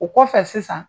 O kɔfɛ sisan